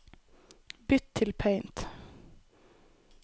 Bytt til Paint